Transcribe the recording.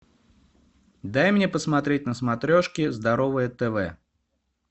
дай мне посмотреть на смотрешке здоровое тв